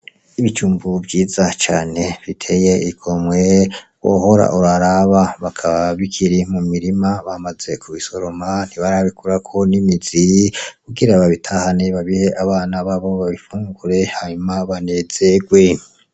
Ibijumbu vyiza cane biteye igomye wohora uraraba. Bikaba bikiri mu mirima bamaze kubisoroma ntibarabikurako n'imizi kugira babitahane babihe abana babo babifungure hanyuma banezerwe.